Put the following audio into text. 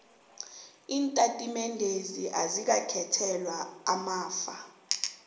iintatimendezi azikakhethelwa amafa